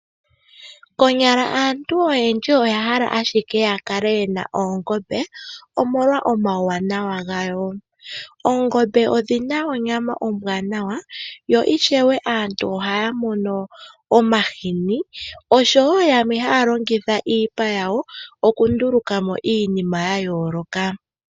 Konyala aantu oyendji oya hala ashike ya kale ye na oongombe, omolwa omauwanawa gayo. Oongombe odhi na onyama ombwaanawa yo ishewe aantu ohaya mono omahini osho wo yamwe haya longitha iipa yawo okunduluka mo iinima ya yooloka.